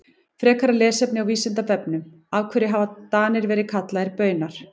Frekara lesefni á Vísindavefnum Af hverju hafa Danir verið kallaðir Baunar?